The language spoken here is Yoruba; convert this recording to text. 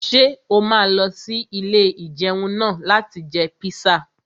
Ṣé o máa lọ sí ilé-ìjẹun náà láti jẹ píṣà?